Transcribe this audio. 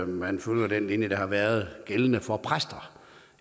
man følger den linje der har været gældende for præster